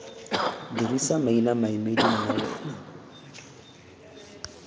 dirisa maina maemedi nna wena